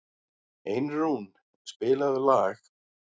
Einrún, spilaðu lag.